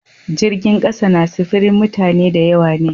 Jirgin kasa na sifirin mutane da yawa ne.